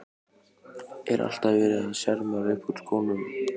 Er alltaf verið að sjarmera upp úr skónum?